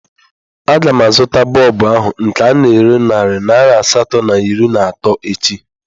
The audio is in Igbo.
A ga m azụta bọlbụ ahụ nke ana ere narị naira asatọ na iri na atọ echi